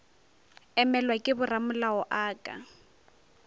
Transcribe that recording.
emelwa ke boramolao a ka